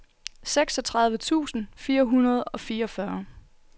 seksogtredive tusind fire hundrede og fireogfyrre